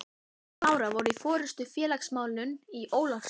Jón og Lára voru í forystu í félagsmálum í Ólafsvík.